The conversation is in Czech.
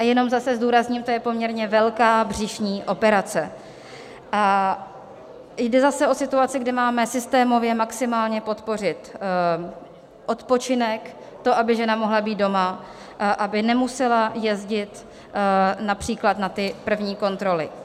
A jenom zase zdůrazním, to je poměrně velká břišní operace a jde zase o situaci, kde máme systémově maximálně podpořit odpočinek, to, aby žena mohla být doma, aby nemusela jezdit například na ty první kontroly.